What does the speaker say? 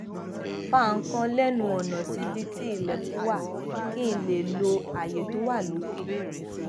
fa nǹkan lénu ònà síbi tí ilèkùn wà kí n lè lo àyè tó wà lókè